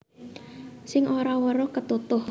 Sing ora weruh ketutuh